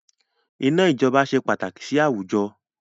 Iná ijọba ṣe pàtàkì sì àwùjọ